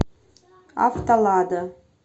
автолада